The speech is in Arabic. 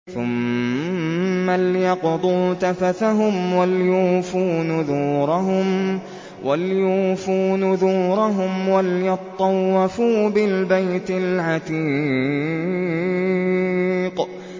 ثُمَّ لْيَقْضُوا تَفَثَهُمْ وَلْيُوفُوا نُذُورَهُمْ وَلْيَطَّوَّفُوا بِالْبَيْتِ الْعَتِيقِ